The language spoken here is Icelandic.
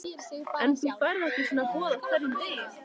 En þú færð ekki svona boð á hverjum degi.